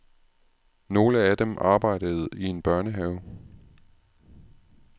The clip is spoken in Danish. Nogle af dem arbejdede i en børnehave.